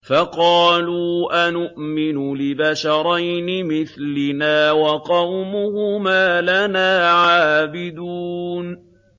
فَقَالُوا أَنُؤْمِنُ لِبَشَرَيْنِ مِثْلِنَا وَقَوْمُهُمَا لَنَا عَابِدُونَ